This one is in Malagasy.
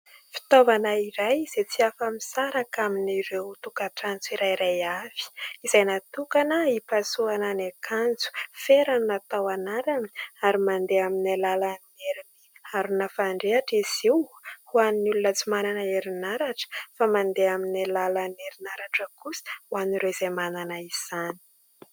Fitaovana iray izay tsy afa-misaraka amin'ireo tokantrano tsirairay avy izay natokana hipasohana ny akanjo. Fera no natao anarany ary mandeha amin'ny alalan'ny harina fandrehitra izy io ho an'ny olona tsy manana herinaratra fa mandeha amin'ny alalan'ny herinaratra kosa ho an'ireo izay manana izany.